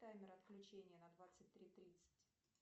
таймер отключения на двадцать три тридцать